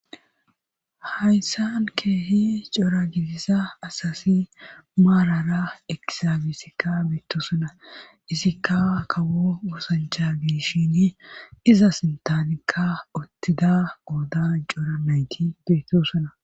hayssan keehi cora gidissa asasi maarara ekisabisikka beettosona. isikka kawo oosancha gishin iza sintanikka ottida ooda cora mayti beetto sona.